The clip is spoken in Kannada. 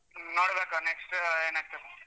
ನೋಡ್ಬೇಕು next ಏನಾಗ್ತದೆ.